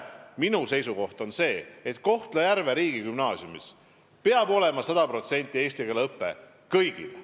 Minu seisukoht on, et Kohtla-Järve riigigümnaasiumis peab olema sada protsenti eesti keele õpe – kõigile.